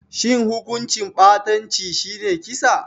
Shin hukuncin ɓatanci shi ne kisa?